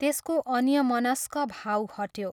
त्यसको अन्यमनस्क भाव हट्यो।